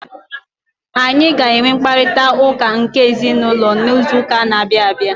Anyị ga-enwe mkparịta ụka nke ezinụlọ n'izu ụka na-abịa abịa.